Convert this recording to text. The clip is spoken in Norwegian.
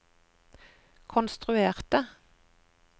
konstruerte